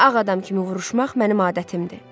Ağ adam kimi vuruşmaq mənim adətimdir.